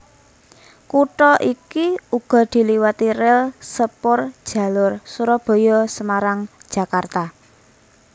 Kutha iki uga diliwati ril sepurjalur Surabaya Semarang Jakarta